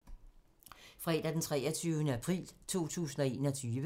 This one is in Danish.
Fredag d. 23. april 2021